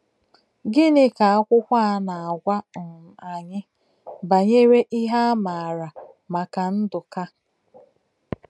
Gịnị ka akwụkwọ a na - agwa um anyị banyere ihe a maara maka Ndụka?